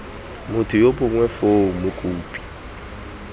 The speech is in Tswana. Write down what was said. motho yo mongwe foo mokopi